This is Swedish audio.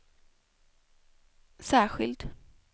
särskild